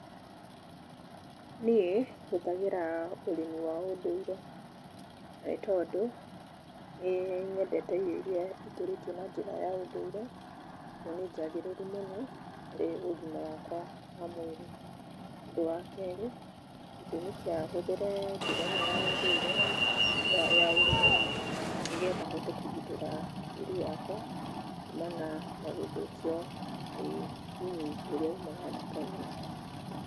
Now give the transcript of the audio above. Niĩ hũthagĩra ũrĩmi wa ũndũire na nĩ tondũ nĩnyendete irio iria ikũrĩtio na njĩra ya ũndũire, tondũ nĩ njagĩrĩru mũno harĩ ũgima wakwa wa mwĩrĩ. Ũndũ wa kerĩ, gĩtũmi kĩa hũthĩre njĩra ĩno ya ũndũire ya ũrĩmi nĩgetha hote kũgitĩra tĩri wakwa kũmana na gũthũkio nĩ thumu ũria umaga nduka-inĩ.